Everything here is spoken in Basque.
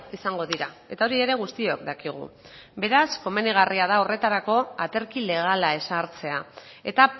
izango dira eta hori ere guztiok dakigu beraz komenigarria da horretarako aterki legala ezartzea eta